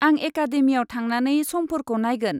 आं एकादेमियाव थांनानै समफोरखौ नायगोन।